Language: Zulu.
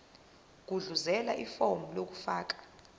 gudluzela ifomu lokufaka